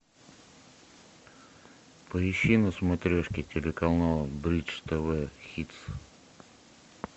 поищи на смотрешке телеканал бридж тв хитс